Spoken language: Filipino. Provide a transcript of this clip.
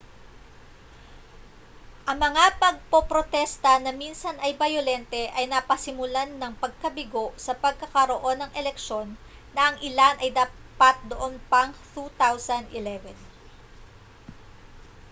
ang mga pagpoprotesta na minsan ay bayolente ay napasimulan ng pagkabigo sa pagkakaroon ng eleksyon na ang ilan ay dapat noon pang 2011